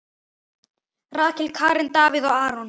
Rakel, Karen, Davíð og Aron.